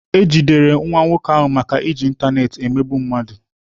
E jidere nwa nwoke ahụ maka iji ịntanetị emegbu mmadụ.